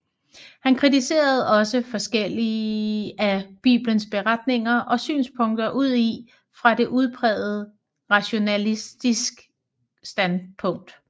Han kritiserede også forskellige af Bibelens beretninger og synspunkter udi fra et udpræget rationalistisk standpunkt